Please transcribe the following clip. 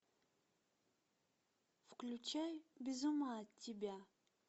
включай без ума от тебя